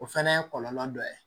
O fana ye kɔlɔlɔ dɔ ye